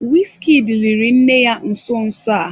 Wizkid liri nne ya nso nso a.